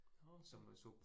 Nåh okay